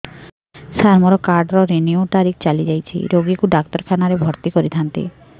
ସାର ମୋର card renew ତାରିଖ ଚାଲି ଯାଇଛି ରୋଗୀକୁ ଡାକ୍ତରଖାନା ରେ ଭର୍ତି କରିଥାନ୍ତି